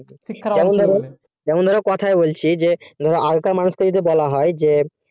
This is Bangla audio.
যেমন ধরো কথাই বলছি যে আগেকার মানুষ দেরকে কিছু বলা হয়